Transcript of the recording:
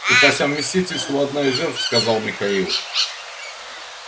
и по совместительству одна из жертв сказал михаил